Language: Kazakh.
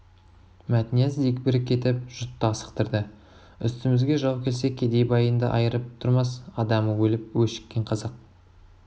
мәтнияз дегбірі кетіп жұртты асықтырды үстімізге жау келсе кедей байыңды айырып тұрмас адамы өліп өшіккен қазақ